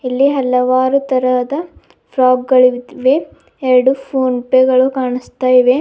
ಇಲ್ಲಿ ಹಲವಾರು ತರಹದ ಫ್ರಾಕ್ ದ ಗಳಿವೆ ಎರಡು ಫೋನ್ ಪೆ ಗಳು ಕಾಣಸ್ತಾ ಇವೆ.